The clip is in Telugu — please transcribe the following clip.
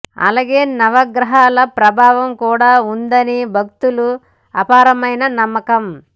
అలాగే నవగ్రహాల ప్రభావం కూడా ఉండదని భక్తులకు అపారమైన నమ్మకం